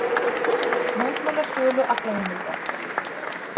Mótmæla sölu aflaheimilda